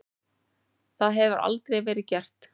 Það hefur aldrei verið gert.